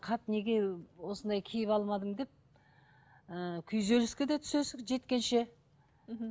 қап неге осындай киіп алмадым деп ы күйзеліске де түсесің жеткенше мхм